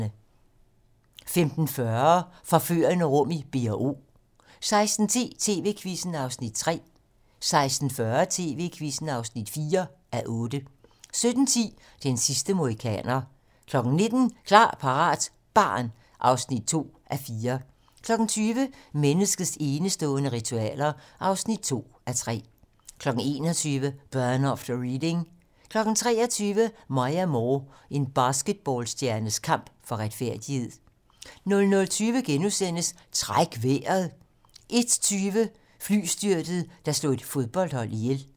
15:40: Forførende rum i B&O 16:10: TV-Quizzen (3:8) 16:40: TV-Quizzen (4:8) 17:10: Den sidste mohikaner 19:00: Klar, parat - barn (2:4) 20:00: Menneskets enestående ritualer (2:3) 21:00: Burn After Reading 23:00: Maya Moore: En basketballstjernes kamp for retfærdighed 00:20: Træk vejret * 01:20: Flystyrtet, der slog et fodboldhold ihjel